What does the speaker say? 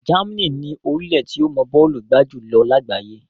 Germany ni orílẹ̀ tí ó mọ bọ́ọ̀lù gbá jù lọ lágbàáyé.